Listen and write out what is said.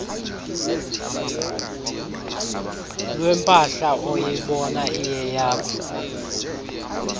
lwempahla oyibona iyeyakho